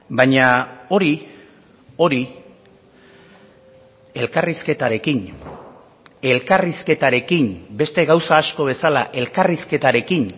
baina hori hori elkarrizketarekin elkarrizketarekin beste gauza asko bezala elkarrizketarekin